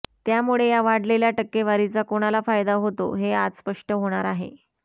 त्यामुळे या वाढलेल्या टक्केवारीचा कोणाला फायदा होतो हे आज स्पष्ट होणार आहे